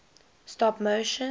stop motion